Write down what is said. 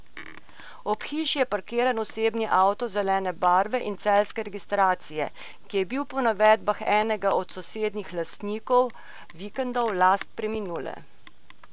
Ob hiši je parkiran osebni avto zelene barve in celjske registracije, ki je bil po navedbah enega od sosednjih lastnikov vikendov last preminule.